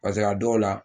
Paseke a dɔw la